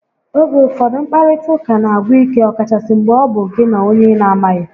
Oge ụfọdụ, nkparịta ụka n'agwụ ike ọkachasị mgbe ọ bụ gị na onye ị na amaghị